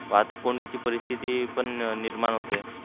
वाहतूक कोन्धीची परीस्तीती पण निर्माण होते.